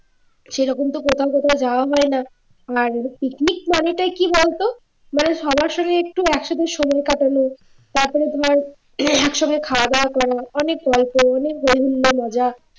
সেরকম তো কোথাও কোথাও যাওয়া হয়না আর picnic মানেটাই কি বলতো মানে সবার সঙ্গে একটু একসাথে সময় কাটানো তারপরে ধর একসঙ্গে খাওয়া দাওয়া করা অনেক গল্প অনেক বিভিন্ন মজা